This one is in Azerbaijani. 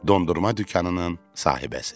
Dondurma dükanının sahibəsi.